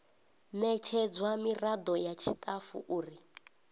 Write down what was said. ṋetshedzwa miraḓo ya tshiṱafu uri